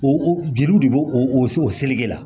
O o jeliw de b'o o se o seli la